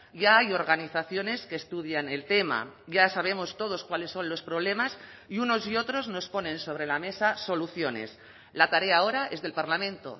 ya hay organizaciones que estudian el tema ya sabemos todos cuáles son los problemas y unos y otros nos ponen sobre la mesa soluciones la tarea ahora es del parlamento